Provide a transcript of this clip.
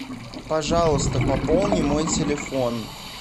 пожалуйста пополни мой телефон